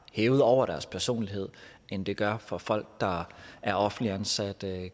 hævet over deres personlighed end det gør for folk der er offentligt ansatte